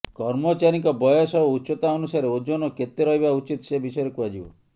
କର୍ମଚାରୀଙ୍କ ବୟସ ଓ ଉଚ୍ଚତା ଅନୁସାରେ ଓଜନ କେତେ ରହିବା ଉଚିତ ସେ ବିଷୟରେ କୁହାଯିବ